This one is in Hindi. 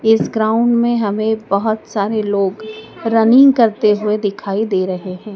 इस ग्राउंड में हमें बहोत सारे लोग रनिंग करते हुए दिखाई दे रहे हैं।